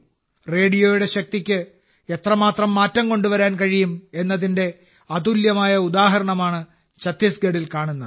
റേഡിയോയുടെ ശക്തിക്ക് എത്രമാത്രം മാറ്റം കൊണ്ടുവരാൻ കഴിയും എന്നതിന്റെ അതുല്യമായ ഉദാഹരണമാണ് ഛത്തീസ്ഗഢിൽ കാണുന്നത്